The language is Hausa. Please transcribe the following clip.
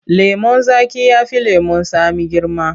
Lemon zaƙi ya fi lemon tsami girma.